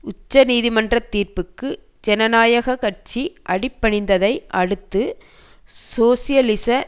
உச்சநீதிமன்ற தீர்ப்புக்கு ஜனநாயக கட்சி அடிபணிந்ததை அடுத்து சோசியலிச